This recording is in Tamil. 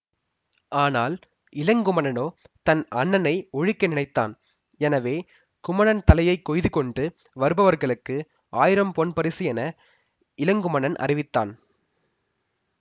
ஆனால் இளங்குமணனோ தன் அண்ணனை ஒழிக்க நினைத்தான் எனவே குமணன் தலையை கொய்துகொண்டு வருபவர்களுக்கு ஆயிரம்பொன் பரிசு என இளங்குமணன் அறிவித்தான்